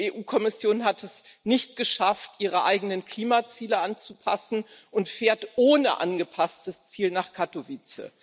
Die EU Kommission hat es nicht geschafft, ihre eigenen Klimaziele anzupassen und fährt ohne angepasstes Ziel nach Kattowitz.